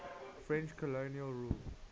french colonial rule